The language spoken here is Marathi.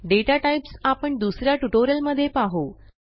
दाता टाइप्स आपण दुस या ट्युटोरियलमध्ये पाहू